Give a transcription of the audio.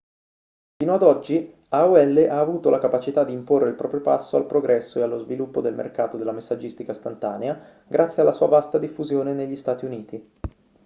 fino ad oggi aol ha avuto la capacità di imporre il proprio passo al progresso e allo sviluppo del mercato della messaggistica istantanea grazie alla sua vasta diffusione negli stati uniti